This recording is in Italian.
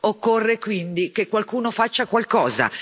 Occorre, quindi, che qualcuno faccia qualcosa.